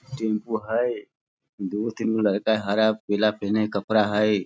Tempo हई। दूगो तीन गो लड़का हई। हरा पीला पेन्हले कपड़ा हई।